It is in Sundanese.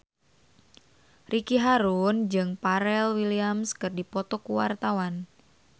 Ricky Harun jeung Pharrell Williams keur dipoto ku wartawan